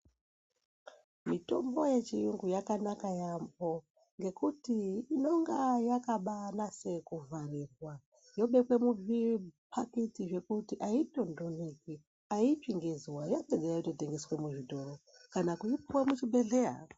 Mitombo yechiyungu yakanaka yaampho, ngekuti inonga yakabaanase kuvharirwa, yobekwe muzviphakiti zvekuti aitondoneki, aitsvi ngezuwa. Yopedza yototengeswe muzvitoro kana kupuwa muchibhedhlera.